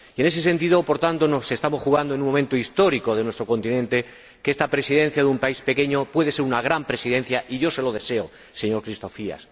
En ese sentido, por tanto, estamos ante un momento histórico de nuestro continente en que esta Presidencia de un país pequeño puede ser una gran presidencia, y yo se lo deseo, señor Christofias.